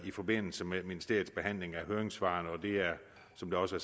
i forbindelse med ministeriets behandling af høringssvarene og det er som det også